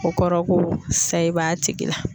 O kɔrɔ ko sayi b'a tigi la.